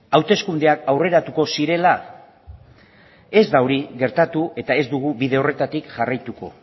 hauteskundeak aurreratuko zirela ez da hori gertatu eta ez dugu bide horretatik jarraituko